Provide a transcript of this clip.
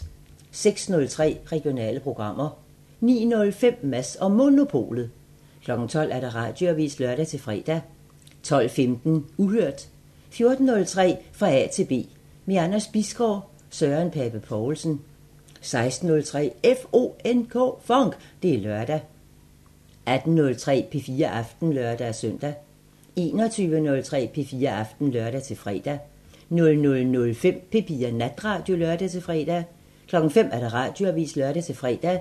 06:03: Regionale programmer 09:05: Mads & Monopolet 12:00: Radioavisen (lør-fre) 12:15: Uhørt 14:03: Fra A til B – med Anders Bisgaard: Søren Pape Poulsen 16:03: FONK! Det er lørdag 18:03: P4 Aften (lør-søn) 21:03: P4 Aften (lør-fre) 00:05: P4 Natradio (lør-fre) 05:00: Radioavisen (lør-fre)